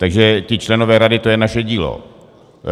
Takže ti členové rady, to je naše dílo.